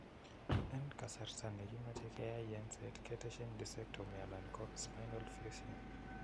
En kasarta negimache keyai yenset ketesyin discectomy alan ko spinal fusion.